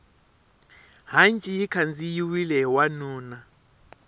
hanci yi khandziyiwile hi wanuna